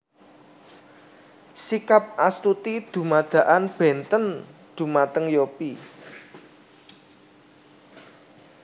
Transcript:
Sikap Astuti dumadakan bénten dhumateng Yopie